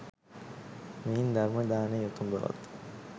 මෙයින් ධර්ම දානය උතුම් බවත්